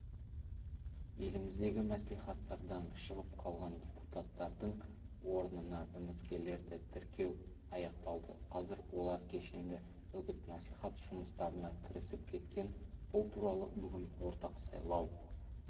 еліміздегі мәслихаттардан шығып қалған депутаттардың орнына үміткерлерді тіркеу аяқталды қазір олар кешенді үгіт-насихат жұмыстарына кірісіп кеткен бұл туралы бүгін орталық сайлау